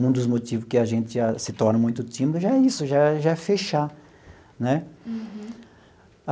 Um dos motivos que a gente se torna muito tímido já é isso, já já é fechar né.